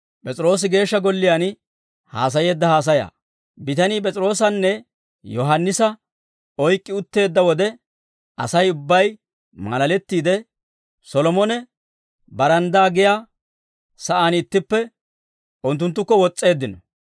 Bitanii P'es'iroosanne Yohaannisa oyk'k'i utteedda wode, Asay ubbay maalalettiide, Solomone baranddaa giyaa saan ittippe unttunttukko wos's'eeddino.